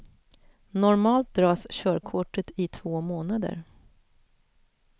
Normalt dras körkortet i två månader.